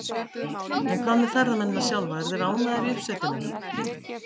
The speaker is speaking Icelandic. En hvað með ferðamennina sjálfa, eru þeir ánægðir í uppsveitunum?